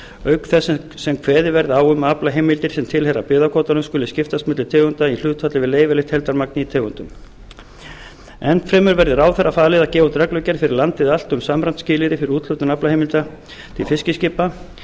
auk þess sem kveðið verði á um að aflaheimildir sem tilheyra byggðakvótanum skuli skiptast milli tegunda í hlutfalli við leyfilegt heildarmagn í tegundunum enn fremur verði ráðherra falið að gefa út reglugerð fyrir landið allt um samræmd skilyrði fyrir úthlutun aflaheimilda til fiskiskipa